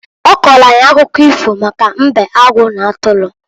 Ọ kọọlụ anyị akụkọ ifo maka mbe, agụ n'atụrụ.